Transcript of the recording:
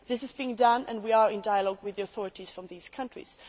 This is being done and we are in dialogue with the authorities from these countries.